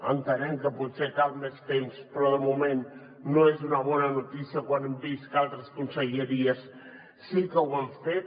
entenem que potser cal més temps però de moment no és una bona notícia quan hem vist que altres conselleries sí que ho han fet